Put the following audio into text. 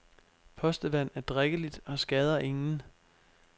Postevand er drikkeligt og skader ingen.